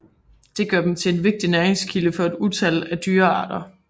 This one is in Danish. Det gør dem til en vigtig næringskilde for et utal af dyrearter